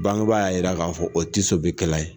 Bangeba y'a yira k'a fɔ o bɛkɛla ye.